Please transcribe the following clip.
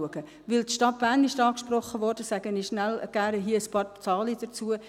Weil die Stadt Bern angesprochen wurde, nenne ich hier gern ein paar Zahlen dazu.